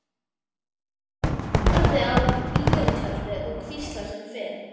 Hann horfði á bíótjaldið og hvíslaði sem fyrr.